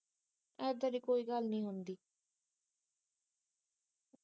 ਏਦਾਂ ਦੀ ਕੋਈ ਗੱਲ ਨਹੀਂ ਹੁੰਦੀ